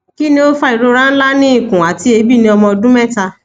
kini o fa irora nla ni nla ni ikun ati eebi ni ọmọ ọdun mẹta